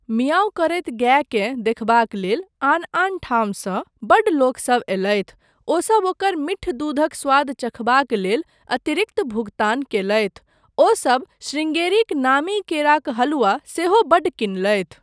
मियाउँ' करैत गायकेँ देखबाक लेल आन आन ठामसँ बड्ड लोकसभ अयलथि। ओसब ओकर मीठ दूधक स्वाद चखबाक लेल अतिरिक्त भुगतान कयलथि। ओसब शृंगेरीक नामी केराक हलुआ सेहो बड्ड किनलथि।